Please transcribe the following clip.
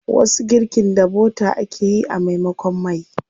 Wasu girkin da bota ake yi a maimakon mai.